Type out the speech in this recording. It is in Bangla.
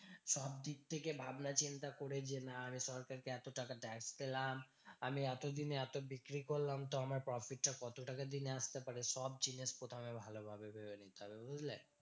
সবদিক থেকে ভাবনাচিন্তা করে যে না আমি সরকারকে এত টাকা tax পেলাম। আমি এতদিনে এত বিক্রি করলাম তো আমার profit টা কত টাকা দিনে আসতে পারে? সব জিনিস প্রথমে ভালোভাবে ভেবে নিতে হবে, বুঝলে?